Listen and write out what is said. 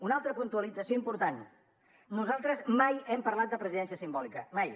una altra puntualització important nosaltres mai hem parlat de presidència simbòlica mai